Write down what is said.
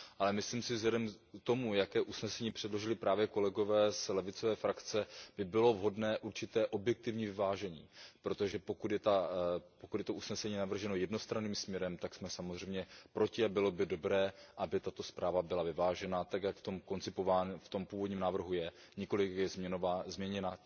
Ale myslím si vzhledem k tomu, jaké usnesení předložili právě kolegové z levicové frakce, že by bylo vhodné určité objektivní vyvážení, protože pokud je to usnesení navrženo jednostranným směrem, tak jsme samozřejmě proti, a bylo by dobré, aby tato zpráva byla vyvážená, tak jak v tom původním návrhu je, nikoliv tak, jak je změněna